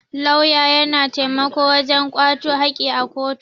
Lauya ya na taimako wajen kwato haki a kotu.